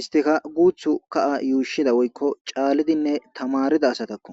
Istika gutiyo kaha yushida woyikko c'alidine tamarida asatako.